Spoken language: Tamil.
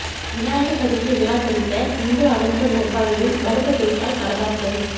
விநாயகர் சதுர்த்தி விழா குறித்த இந்து அமைப்பு நிர்வாகியின் மறுப்பு பேச்சால் பரபரப்பு